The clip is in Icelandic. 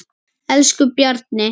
Elsku Bjarni.